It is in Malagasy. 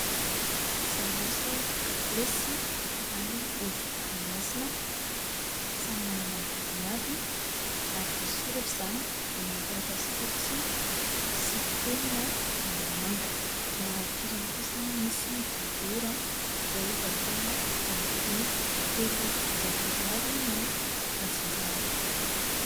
Sambosa, katilesy ary ovy endasina, samy manana amin'ny vidiny avy ary voasoratra izany amina taratasy fotsy sy penina mangamanga. Eo ankilany kosa misy dibera izay varotana amin'ny vidiny telonjato ariary ny antsinjarany.